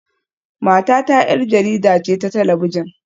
Matata 'yar jarida ce ta talabijin